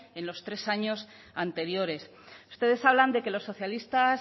en los tres años anteriores ustedes hablan de que los socialistas